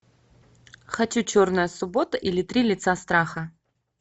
хочу черная суббота или три лица страха